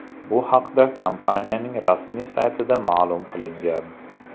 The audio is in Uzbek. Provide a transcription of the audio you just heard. Bu haqda kompaniyaning rasmiy saytida ma’lum qilingan.